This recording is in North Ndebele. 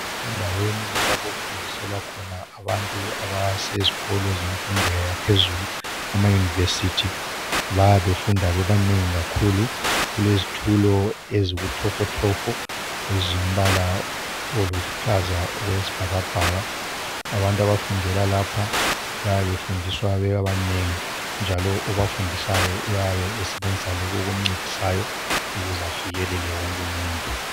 kusendaweni lapho okufundiswelwa khona abantu abasezikolo zemfundo yaphezulu ama university bayabe befunda bebanengi kakhulu kulezitulo ezibutofotofo ezilombala oluhlaza okwesibhakabhaka abantu abafundela lapha bayabe befundiswa bebanengi njalo obafundisayo uyabe esebenzisa lokhu okumncedisayo ukuze afikelele wonke umuntu